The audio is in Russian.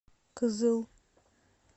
кызыл